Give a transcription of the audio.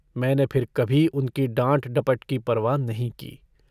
मैंने फिर कभी उनकी डाँट-डपट की परवाह नहीं की।